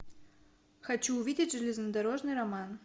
хочу увидеть железнодорожный роман